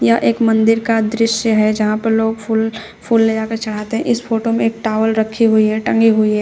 यह एक मंदिर का दृश्य है जहां पर लोग फूल फूल ले जाकर चढ़ाते है। इस फोटो में एक टॉवेल रखी हुई है टंगी हुई है।